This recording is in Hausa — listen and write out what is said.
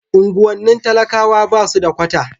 unguwannin talakawa basu da kwata